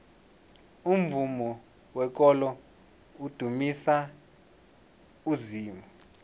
umvumo wekolo udumisa uzimu